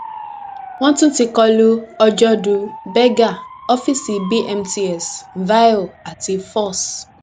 wọn tún ti kọ lu ọjọdù berger ọfíìsì bmts vio àti foss